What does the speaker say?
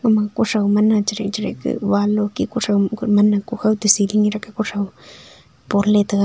ama kutho mane charik charik ka wall loke kutho ku man kuthao siging leka kuthao ponla taga.